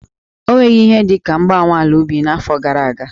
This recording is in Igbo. Ọ nwere ihe dị ka mgbanwe ala ubi n'afọ gara aga?